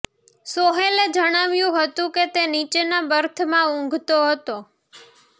સોહેલે જણાવ્યું હતું કે તે નીચેના બર્થમાં ઊંઘતો હતો